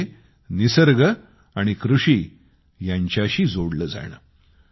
ते म्हणजे निसर्ग आणि कृषी यांच्याशी जोडले जाणे